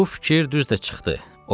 Bu fikir düz də çıxdı.